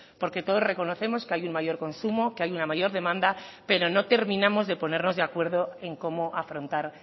porque todos reconocemos que hay un mayor consumo que hay una mayor demanda pero no terminamos de ponernos de acuerdo en cómo afrontar